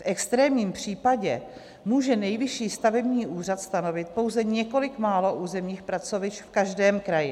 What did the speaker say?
V extrémním případě může Nejvyšší stavební úřad stanovit pouze několik málo územních pracovišť v každém kraji.